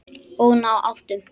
Og ná áttum.